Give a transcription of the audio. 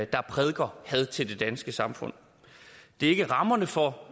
prædiker had til det danske samfund det er ikke rammerne for